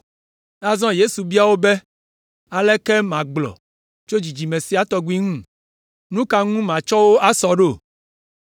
Azɔ Yesu bia wo be, “Aleke magblɔ tso dzidzime sia tɔgbi ŋu? Nu ka ŋu matsɔ wo asɔ ɖo?